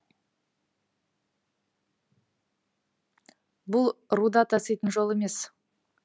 бұл руда таситын жол емес